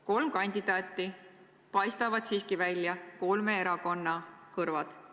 Kolm kandidaati, aga siiski paistavad välja kolme erakonna kõrvad.